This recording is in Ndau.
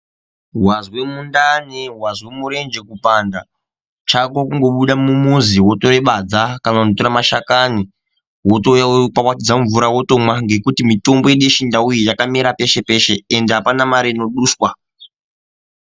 Wazwe mundani wazwe murenje kupanda chako kundobude mumuzi wotorebadza kana kutore mashakani wotouye wotowaridze mumvura wotomwa ngekuti mitombo yedu yechindau yakamera peshe peshe ende apana mare inoduswa.